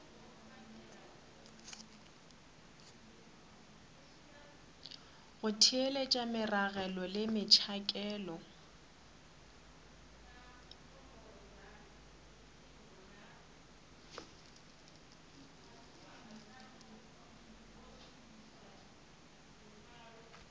go theeletša meragelo le metšhakelo